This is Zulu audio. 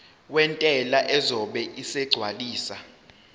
wentela uzobe esegcwalisa